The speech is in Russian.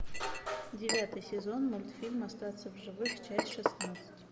девятый сезон мультфильм остаться в живых часть шестнадцать